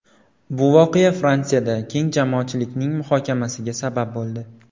Bu voqea Fransiyada keng jamoatchilikning muhokamasiga sabab bo‘ldi.